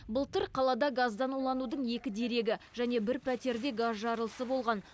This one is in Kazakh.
былтыр қалада газдан уланудың екі дерегі және бір пәтерде газ жарылысы болған